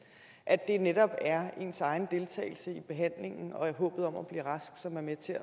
at det netop er ens egen deltagelse i behandlingen og håbet om at blive rask som er med til